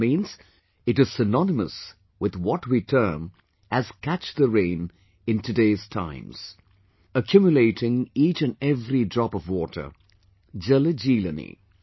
This means, it is synonymous with what we term as 'Catch the Rain' in today's times...accumulating each and every drop of water...Jaljeelani